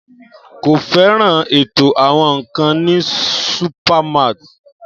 Kò fẹ́ràn ètò àwọn nkan ní supermarts.